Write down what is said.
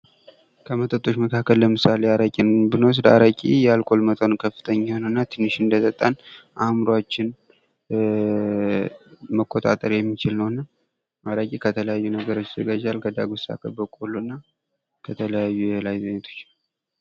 ከመጠጦች መካከል ለምሳሌ አረቄን ብንወስድ አረቄ የአልኮል መጠኑ ከፍተኛ ነው:: እና ትንሽ እንደጠጣን አእምሯችን መቆጣጠር የሚችል ነው:: እና አረቄ ከተለያዩ ነገሮች ይዘጋጃል ከዳጉሳ ከበቆሎ እና ከተለያዩ የእህል አይነቶች::